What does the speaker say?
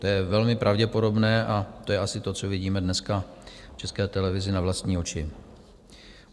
To je velmi pravděpodobné a to je asi to, co vidíme dneska v České televizi na vlastní oči.